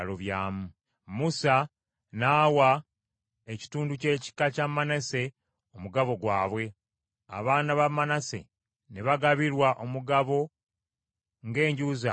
Musa n’awa ekitundu ky’ekika kya Manase omugabo gwabwe, abaana ba Manase ne bagabirwa omugabo ng’enju zaabwe bwe zaali.